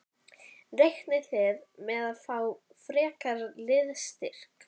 Reiknið þið með að fá frekari liðsstyrk?